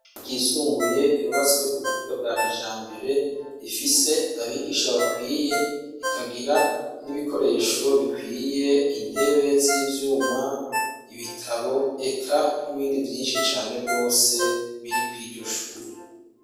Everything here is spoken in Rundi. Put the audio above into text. ryisumbuye ryubatswe kubuhinga bwa kijambere Rifise abigisha bakwiye rikagira nibikoresho bikwiye intebe z'ivyuma , ibitabo eka nibindi vyinshi cane rwose biri kuriryo shure.